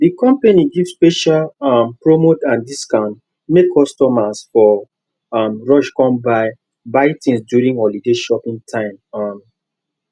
the company give special um promo and discount make customers for um rush come buy buy things during holiday shopping time um